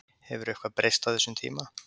Hefur eitthvað breyst á þessum tíma?